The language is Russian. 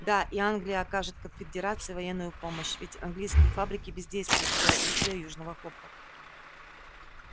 да и англия окажет конфедерации военную помощь ведь английские фабрики бездействуют из-за отсутствия южного хлопка